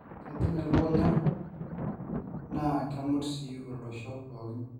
kejing elukunya na kumut sii olosho pookin